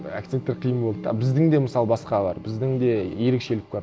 акценттер қиын болды да біздің де мысалы басқа бар біздің де ерекшелік бар